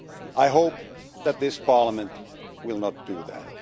I hope that this Parliament will not do that.